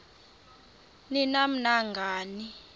ni nam nangani